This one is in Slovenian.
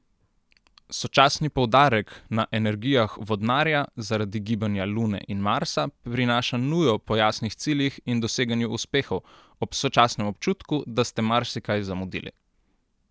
Sočasni poudarek na energijah Vodnarja zaradi gibanja Lune in Marsa prinaša nujo po jasnih ciljih in doseganju uspehov, ob sočasnem občutku, da ste marsikaj zamudili.